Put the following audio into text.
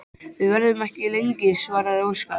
Við verðum ekki lengi, svaraði Óskar.